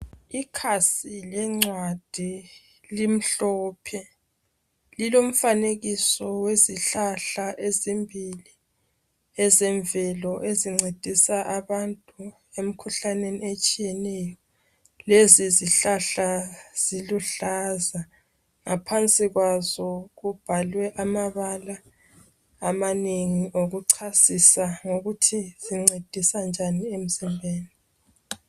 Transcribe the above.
Ikhasi lencwadi limhlophe lilomfanekiso wezihlahla ezimbili ezemvelo ezincedisa abantu emkhuhlaneni etshiyeneyo lezi zihlahla ziluhlaza ngaphansi kwazo kubhalwe amabala amanengi okuchasisa ngokuthi zincedisa njani emzimbeni.